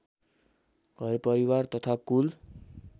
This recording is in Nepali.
घरपरिवार तथा कुल